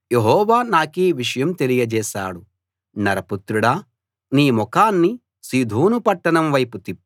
నరపుత్రుడా నీ ముఖాన్ని సీదోను పట్టణం వైపు తిప్పి దాన్ని గురించి ప్రవచించు